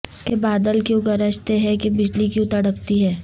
کہ بادل کیوں گرجتے ہیں کہ بجلی کیوں تڑپتی ہے